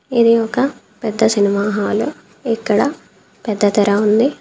ఇది ఒక పెద్ద సినిమా హాలు . ఇక్కడ పెద్ద తెర ఉంది.